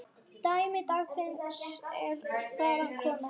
Dæmi dagsins er þaðan komið.